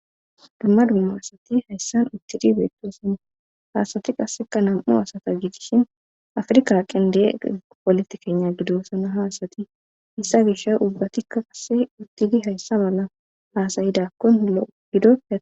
Dumma dumma asati hayssan uttidi beettosana haasati qasseka nam7u asata giitishin afrka qende polotikenya gidosana haasati issa gisha ubbatikka qasse uttidi hayssa balla haasayidakkon lo7o gido.